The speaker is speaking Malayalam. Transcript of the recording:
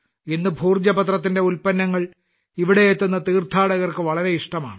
ഇന്ന് ഭോജ പത്രത്തിന്റെ ഉൽപ്പന്നങ്ങൾ ഇവിടെയെത്തുന്ന തീർത്ഥാടകർക്ക് വളരെ ഇഷ്ടമാണ്